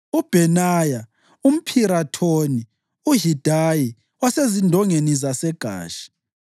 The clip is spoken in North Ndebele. uBhenaya umPhirathoni, uHidayi wasezindongeni zaseGashi,